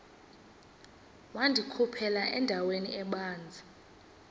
wandikhuphela endaweni ebanzi